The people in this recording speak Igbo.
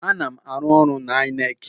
Ana m arụ ọrụ n'INEC.